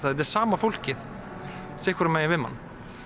þetta er sama fólkið sitt hvoru megin við mann